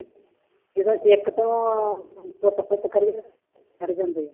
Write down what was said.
ਜਦੋਂ ਇੱਕ ਤੋਂ ਪੁੱਤ ਪੁੱਤ ਕਰੀ ਹਟ ਜਾਂਦੇ ਆ।